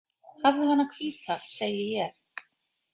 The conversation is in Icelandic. Hafðu hana hvíta, segi ég.